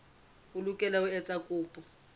o lokela ho etsa kopo